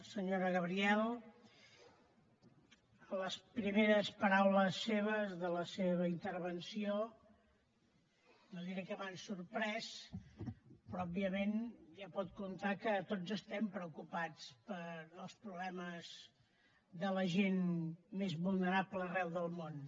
senyora gabriel les primeres paraules seves de la seva intervenció no diré que m’han sorprès però òbviament ja pot comptar que tots estem preocupats pels problemes de la gent més vulnerable arreu del món